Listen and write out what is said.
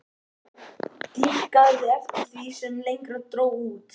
Dýpkaði eftir því sem lengra dró út.